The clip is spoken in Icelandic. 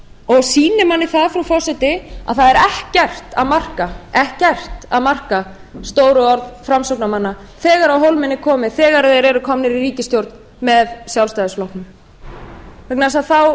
og sýnir manni frú forseti að það er ekkert að marka stór orð framsóknarmanna þegar á hólminn er komið þegar þeir eru komnir í ríkisstjórn með sjálfstæðisflokknum vegna þess að þá